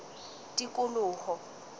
tikoloho